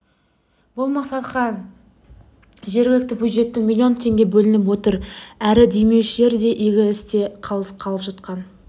бұл мақсатқа жергілікті бюджеттен млн теңге бөлініп отыр әрі демеушілер де игі істе қалыс қалып жатқан